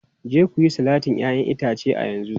Je ku yi salatin 'ya'yan itace a yanzu!